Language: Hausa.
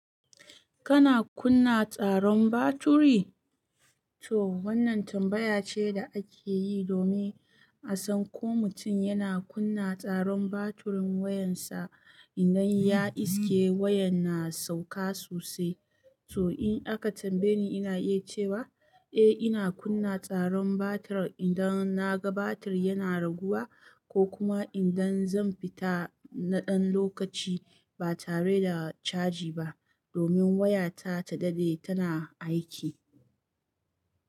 Kana kunna tsaron batiri? To wannan tambaya ce da ake yi domin a san ko mutum yana kunna tsaron batirin wayarsa idan ya iske wayan na sauka sosai. To in aka tambaye ni, ina iya cewa eh ina kunna tsaron batir idan na ga batir yana raguwa ko kuma idan zan fita na ɗan lokaci ba tare da caji ba domin wayata ta daɗe tana aiki.